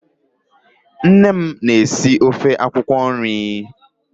Nne m na-esi ofe akwụkwọ nri.